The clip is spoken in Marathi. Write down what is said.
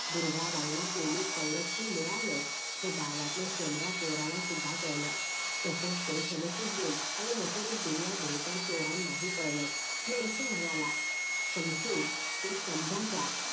दुर्गाबाईला पोलीस सवरक्षण मिळालंय हे गावातल्या शेम्बड्या पोराला सुद्धा कळलं तसंच ते समशुद्दीन आणि नसरुद्दीन या भुरट्या चोरांना ही कळलं नरसू म्हणाला शमशु कुछ समझा क्या